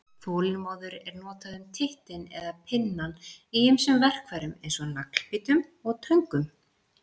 Þolinmóður er notað um tittinn eða pinnann í ýmsum verkfærum eins og naglbítum og töngum.